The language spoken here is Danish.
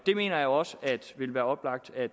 mener også at det ville være oplagt at